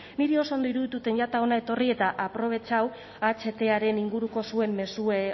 niri oso ondo irudituten jata hona etorri eta aprobetxatu ahtaren inguruko zuen mezue